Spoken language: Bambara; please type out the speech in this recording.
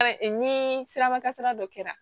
ni siraba kasara dɔ kɛra